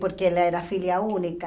Porque ela era filha única.